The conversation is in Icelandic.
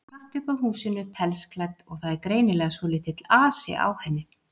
Hún gengur hratt upp að húsinu, pelsklædd, og það er greinilega svolítill asi á henni.